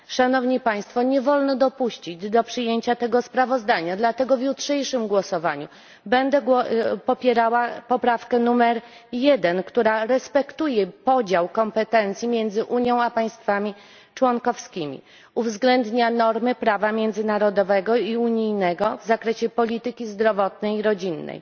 Nie wolno dopuścić do przyjęcia tego sprawozdania, dlatego w jutrzejszym głosowaniu będę popierała poprawkę nr 1, która respektuje podział kompetencji między Unią a państwami członkowskimi, uwzględnia normy prawa międzynarodowego i unijnego w zakresie polityki zdrowotnej i rodzinnej.